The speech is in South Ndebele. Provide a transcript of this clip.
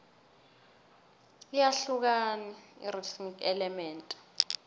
iyahlukani irhythm element